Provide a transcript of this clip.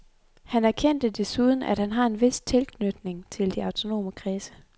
Han erkendte desuden, at han har en vis tilknytning til de autonome kredse.